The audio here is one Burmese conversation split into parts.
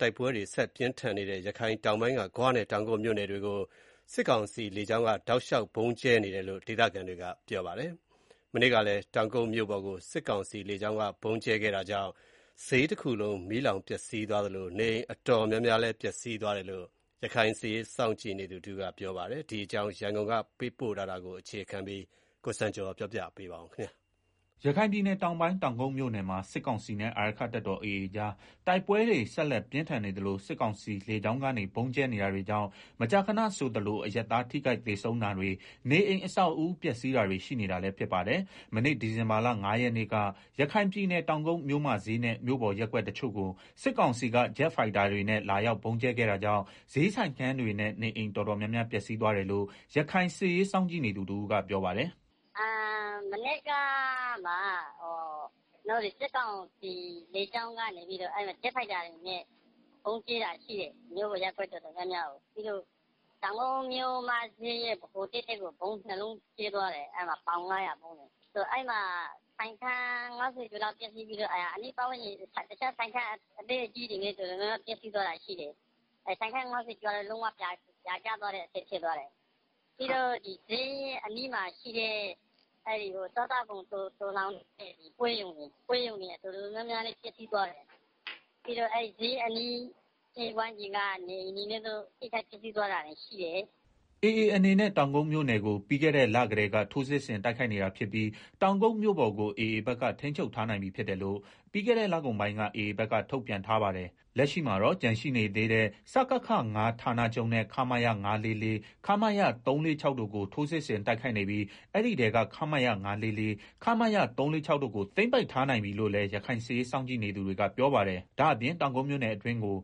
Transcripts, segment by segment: တိုက်ပွဲတွေဆက်တိုက်ပြင်းထန်နေတဲ့ ရခိုင်တောင်ပိုင်းက ဂွနဲ့ တောင်ကုတ်မြို့နယ်တွေကို စစ်ကောင်စီလေကြောင်းက တောက်လျှောက်ဗုံးကြဲနေတယ်လို့ ဒေသခံတွေက ပြောပါတယ်။ မနေ့ကလည်း တောင်ကုတ်မြို့ပေါ်ကို စစ်ကောင်စီလေကြောင်းက ဗုံးကြဲခဲ့တာကြောင့် ဈေးတခုလုံး မီးလောင်ပျက်စီးသွားသလို နေအိမ်တော်တော်များများလည်း ပျက်စီးသွားတယ်လို့ ရခိုင်စစ်ရေးစောင့်ကြည့်နေသူတဦးက ပြောပါတယ်။ ဒီအကြောင်း ရန်ကုန်က သတင်းပေးပို့ထားတာကို ကိုစံကျော်က တင်ပြပေးထားပါတယ်။ ရခိုင်ပြည်နယ်တောင်ပိုင်း တောင်ကုတ်မြို့နယ်မှာ စစ်ကောင်စီနဲ့ အာရက္ခတပ်တော် AA ကြား တိုက်ပွဲတွေ ဆက်လက်ပြင်းထန်နေသလို စစ်ကောင်စီလေကြောင်းကနေ ဗုံးကြဲနေတာတွေကြောင့် မကြာခဏဆိုသလို အရပ်သား ထိခိုက်သေဆုံးတာတွေနဲ့ နေအိမ်အဆောက်အဦးတွေလည်း ပျက်စီးဆုံးရှုံးနေပါတယ်။ မနေ့ ဒီဇင်ဘာလ ၅ ရက်နေ့က ရခိုင်ပြည်နယ် တောင်ကုတ်မြို့မဈေးနဲ့ မြို့ပေါ်ရပ်ကွက်တချို့ကို စစ်ကောင်စီက ဂျက်ဖိုက်တာတွေနဲ့ လာရောက်ဗုံးကြဲခဲ့တာကြောင့် ဈေးဆိုင်ခန်းတွေနဲ့ နေအိမ် တော်တော်များများ ပျက်စီးသွားတယ်လို့ ရခိုင်စစ်ရေးစောင့်ကြည့်နေသူ တဦးက ပြောပါတယ်။ “မနေ့က စစ်ကောင်စီလေကြောင်းက ဂျက်ဖိုက်တာတွေနဲ့ ဗုံးကြဲတာ ရှိတယ် မြို့ပေါ်ရပ်ကွက် တော်တော်များများကို။ပြီးတော့ တောင်ကုတ် မြို့မဈေးကို ဗုံးနှစ်လုံးကြဲသွားတယ်။ ပေါင် ၅၀၀ ဗုံးလေ၊ အဲမှာ ဆိုင်းခန်း ၅၀ ကျော်လောက်ပျက်စီးသွားပြီးတော့ အနီးအနားကဆိုင်ခန်း အသေးအကြီးတွေ လည်း တော်တော်ပျက်စီးသွားတယ်။ ဆိုင်ခန်း၅၀ကျော်ကတော့ လုံးဝပြာကျသွားတဲ့အဆင့် ဖြစ်သွား တယ်။ ပြီးတော့ ဈေးအနီးမှာရှိတဲ့ စားသောက်ကုန်သိုလှောင်တဲ့ပွဲရုံတွေ တော်တော် ပျက်စီးသွားတယ်။ ပြီးတော့ ဈေးအနီးဝန်းကျင်က နေအိမ်တွေလည်း တော်တော်ပျက်စီးသွားတာရှိတယ်။” AA အနေနဲ့တောင်ကုတ်မြို့နယ်ကို ပြီးခဲ့တဲ့လကတည်းက ထိုးစစ်ဆင်တိုက်ခိုက်နေတာဖြစ်ပြီး တောင်ကုတ်မြို့ပေါ်ကိုAAဘက်က ထိန်းချုပ်ထားနိုင်ပြီးဖြစ်တယ်လို့ ပြီးခဲ့လကုန်ပိုင်းက AAဘက်က ထုတ်ပြန်ထားပါတယ်။ လက်ရှိမှာတော့ကျန်ရှိသေးတဲ့ စကခ ၅ ဌာနချုပ်နဲ့ ခမရ ၅၄၄၊ ခမရ ၃၄၆ တို့ကို ထိုးစစ်ဆင်တိုက်ခိုက်နေပြီး အဲဒီထဲက ခမရ ၅၄၄၊ခမရ ၃၄၆တို့ကို သိမ်းပိုက်ထားနိုင်ပြီးလို့လည်း ရခိုင်စစ်ရေးစောင့်ကြည့်သူတွေက ပြောပါတယ်။ ဒါ့အပြင် တောင်ကုတ်မြို့နယ်အတွင်းကို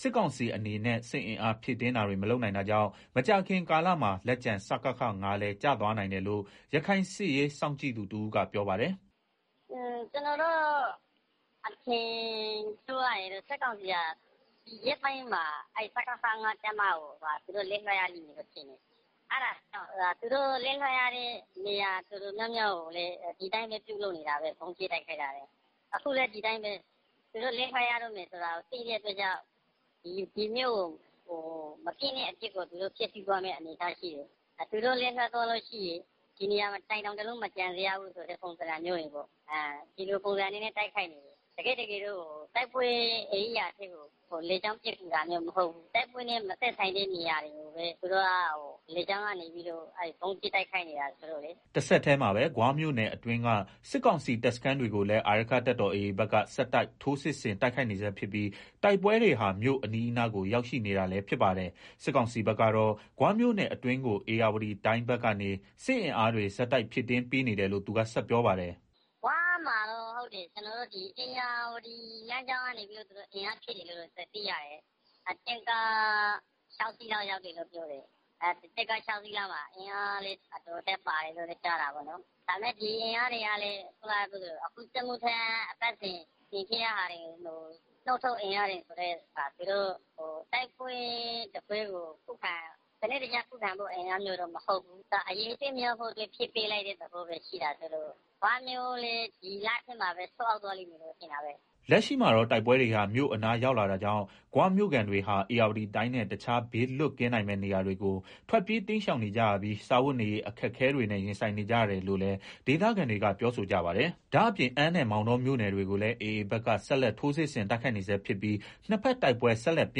စစ်ကောင်စီအနေနဲ့ စစ်အင်အား ဖြည့်တင်းတာတွေ မလုပ်နိုင် တာကြောင့် မကြာခင်ကာလမှာ လက်ကျန် စကခ ၅ လည်း ကျသွားနိုင်တယ်လို့ ရခိုင်စစ်ရေး စောင့်ကြည့်သူတဦးကပြောပါတယ်။ “ကျနော်တို့ အထင်ပြောရရင်တော့ စကစဟာ ဒီရက်ပိုင်းမှာ သူတို့ လက်လွှတ်ရလိမ့်မယ်လို့ထင်တယ်။ သူတို့လက်လွှတ်ရမယ့် နေရာတော်တော်များများကိုလည်း ဒီအတိုင်းပဲ ဗုံးကြဲနေကျပဲ။ အခုလည်း ဒီအတိုင်းပဲ သူတို့လက်လွှတ်ရတော့မယ်ဆိုတာကို သိတဲ့အတွက်ကြောင့် ဒီမြို့ကို မပျက်,ပျက်အောင် ဖျက်စီးသွားမယ့် သဘောရှိတယ်။သူတို့ လက်လွှတ်ရတဲ့အခါ ဒီနေရာတိုင်း တောင်တလုံးမကျန် အောင်ဆိုတဲ့ ပုံစံပေါ့၊ တကယ်တော့ တိုက်ပွဲနေရာတွေကိုလေကြောင်းပစ်ကူနေတာ မဟုတ်ဘူး။ တိုက်ပွဲနဲ့ မဆိုင်တဲ့ နေရာတွေကို ဗုံးကြဲနေတာဆိုတော့လေ။” တဆက်တည်းမှာပဲ ဂွမြို့နယ်အတွင်းက စစ်ကောင်စီတပ်စခန်းတွေကိုလည်း အာရက္ခတပ်တော်AA ဘက်ကဆက်တိုက်ထိုးစစ်ဆင်တိုက်ခိုက်နေဆဲဖြစ်ပြီး တိုက်ပွဲတွေဟာ မြို့အနီးအနားကို ရောက်ရှိနေ တာလည်းဖြစ်ပါတယ်။စစ်ကောင်စီဘက်ကတော့ ဂွမြို့နယ်အတွင်းကို ဧရာဝတီတိုင်းဘက်ကနေ စစ်အင်အားတွေ ဆက်တိုက်ဖြည့်ပေးနေတယ်လို့ သူက ဆက်ပြောပါတယ်။ “ဂွမှာတော့ သူတို့ ဧရာဝတီလမ်းကြောင်းကနေပြီးတော့ အင်အားဖြည့်တယ်လို့ သိရတယ်။ တင့်ကား ၆ စီး ရောက်တယ်လို့ပြောတယ်။ အဲဒီမှာ အင်အားလည်း အတော်အသင့်ပါတယ်လို့ကြားတယ်။ ဒါပေမယ့် ဒီအင်အားဟာလည်း အခုစစ်မှုထမ်း အပတ်စဉ်တွေထဲက ထုတ်နုတ်ပြီးတော့ ပို့တာဆိုတော့ သူတို့က တိုက်ပွဲတပွဲကို စနစ်တကျခုခံဖို့ အင်အားမျိုးတော့ မဟုတ်ဘူး။ အရေအတွက်များဖို့ပဲ ဖြည့်ပေးလိုက်တဲ့ သဘောဆိုတော့ ဂွမြို့လည်း ဒီလထဲမှာပဲ ကျသွားလိမ့်မယ်လို့ ထင်တာပဲ။” လက်ရှိမှာတော့ တိုက်ပွဲတွေ မြို့အနားရောက်လာတာကြောင့် ဂွမြို့ခံတွေဟာ ဧရာဝတီတိုင်းနဲ့ တခြား ဘေးလွတ်ကင်းနိုင်မယ့် နေရာတွေကို ထွက်ပြေးတိမ်းရှောင်နေကြရပြီး စားဝတ်နေရေး အခက်အခဲ တွေနဲ့ ရင်ဆိုင်နေကြရတယ်လို့လည်း ဒေသခံတွေကပြောဆိုကြပါတယ်။ ဒါ့အပြင် အမ်းနဲ့ မောင်တော ၎င်းမြို့နယ်တွေကိုလည်း AA ဘက်က ဆက်လက်ထိုးစစ်ဆင်တိုက်ခိုက်နေ ဆဲဖြစ်ပြီး နှစ်ဘက်တိုက်ပွဲဆက်လက်ပြ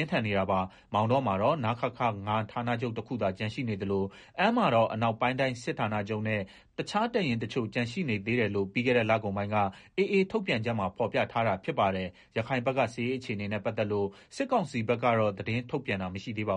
င်းထန်နေတာပါ။ မောင်တောမှာတော့ နခခ ၅ ဌာနချုပ်တခုသာ ကျန်ရှိနေသလို အမ်းမှာတော့အနောက်ပိုင်းတိုင်းစစ်ဌာနချုပ်နဲ့ တခြားတပ်ရင်းတချို့ ကျန်ရှိနေသေး တယ်လို့ ပြီးခဲ့လကုန်ပိုင်းက AA ထုတ်ပြန်ချက်မှာ ဖော်ပြထားတာဖြစ်ပါတယ်။ ရခိုင်ဘက်က စစ်ရေးအခြေအနေနဲ့ပတ်သက်လို့ စစ်ကောင်စီဘက်ကတော့ သတင်းထုတ်ပြန်တာမရှိသေးပါဘူ